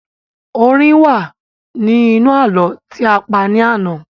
Orin wa ni inú ààlọ́ ti a pa ní àná